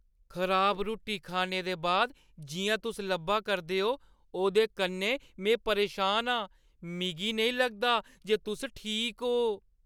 खराब रुट्टी खाने दे बाद जि'यां तुस लब्भा करदे ओ, ओह्दे कन्नै में परेशान आं। मिगी नेईं लगदा जे तुस ठीक ओ।